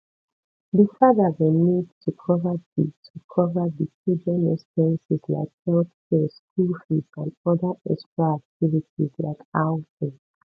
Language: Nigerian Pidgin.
di father go need to cover di to cover di children expenses like healthcare school fees and oda extra activities like outing